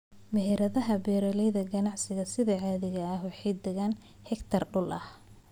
Meheradaha beeralayda ganacsiga sida caadiga ah waxay degaan hektar dhul ah.